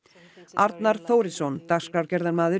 Arnar Þórisson dagskrárgerðarmaður